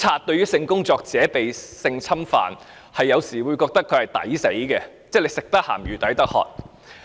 對於性工作者被侵犯，警方有時會認為該死，因為"食得鹹魚抵得渴"。